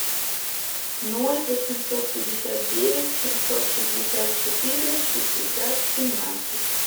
ноль восемьсот пятьдесят девять семьсот шестьдесят четыре шестьдесят семнадцать